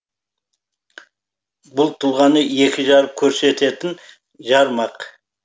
бұл тұлғаны екі жарып көрсететін жармақ